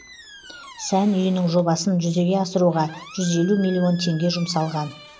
сән үйінің жобасын жүзеге асыруға жүз елу миллион теңге жұмсалған